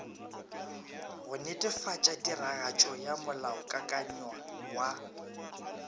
go netefatšatiragatšo ya molaokakanywa wa